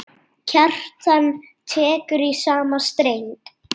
Kjartan tekur í sama streng.